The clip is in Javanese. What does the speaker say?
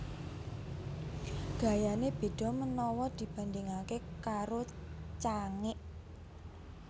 Gayané beda menawa dibandingake karo Cangik